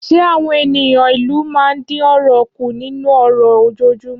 Ṣé àwọn ènìyàn ìlú máa ń dín ọ̀rọ̀ kù nínú ọ̀rọ̀ ojoojúmọ́?